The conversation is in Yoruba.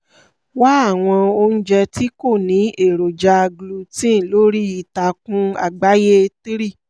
wá àwọn oúnjẹ tí kò ní èròjà gluten lórí itakun àgbáyé three